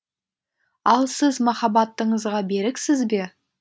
ал сіз махаббатыңызға беріксіз бе